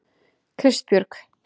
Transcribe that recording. Kristbjörg